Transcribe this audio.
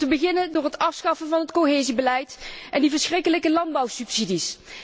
Om te beginnen door het afschaffen van het cohesiebeleid en die verschrikkelijke landbouwsubsidies.